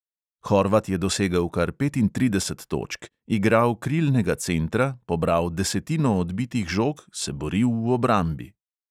Horvat je dosegel kar petintrideset točk, igral krilnega centra, pobral desetino odbitih žog, se boril v obrambi.